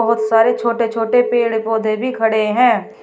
बहुत सारे छोटे छोटे पेड़ पौधे भी खड़े हैं।